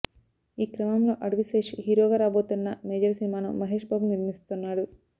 ఈ క్రమంలో అడివి శేష్ హీరోగా రాబోతోన్న మేజర్ సినిమాను మహేష్ బాబు నిర్మిస్తున్నాడు